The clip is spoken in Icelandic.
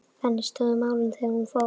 Þannig stóðu málin þegar hún fór.